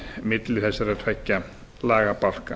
milli þessara tveggja lagabálka